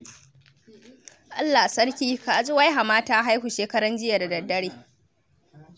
Allah Sarki! Ka ji wai hama ta haihu shekaranjiya da daddare.